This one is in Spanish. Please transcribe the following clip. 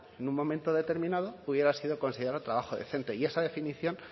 en un momento determinado pudiera haber sido considerado trabajo decente y esa definición